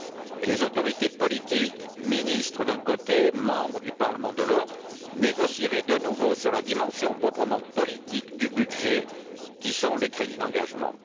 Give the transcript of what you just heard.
Et les autorités politiques, ministres d'un côté, membres du Parlement de l'autre, négocieraient de nouveau sur la dimension proprement politique du budget que sont les crédits d'engagement.